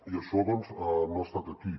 i això doncs no ha estat aquí